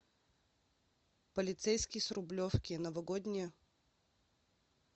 полицейский с рублевки новогодняя